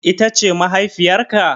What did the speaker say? Ita ce mahaifiyar ka?